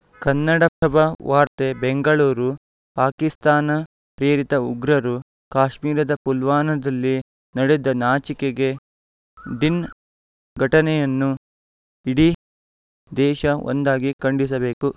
ಕನ್ನಡಪ್ರಭ ವಾರ್ತೆ ಬೆಂಗಳೂರು ಪಾಕಿಸ್ತಾನ ಪ್ರೇರಿತ ಉಗ್ರರು ಕಾಶ್ಮೀರದ ಪುಲ್ವಾನದಲ್ಲಿ ನಡೆದ ನಾಚಿಕೆ ಡಿನ್ ಘಟನೆಯನ್ನು ಇಡೀ ದೇಶ ಒಂದಾಗಿ ಖಂಡಿಸಬೇಕು